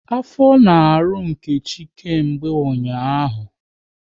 Afọ na-arụ Nkechi kemgbe ụnyaahụ